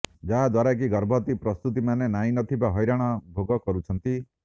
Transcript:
ଯାହାଦ୍ୱାରାକି ଗର୍ଭବତୀ ପ୍ରସୁତି ମାନେ ନାହିଁ ନଥିବା ହଇରାଣ ଭୋଗ କରୁଛନ୍ତି